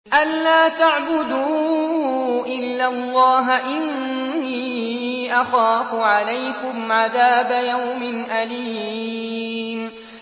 أَن لَّا تَعْبُدُوا إِلَّا اللَّهَ ۖ إِنِّي أَخَافُ عَلَيْكُمْ عَذَابَ يَوْمٍ أَلِيمٍ